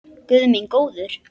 Guð minn góður!